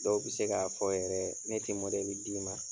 Dɔw be se k'a fɔ yɛrɛ ne te d'i ma.